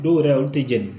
Dɔw yɛrɛ olu tɛ jɛni